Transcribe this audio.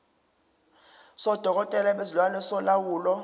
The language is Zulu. sodokotela bezilwane solawulo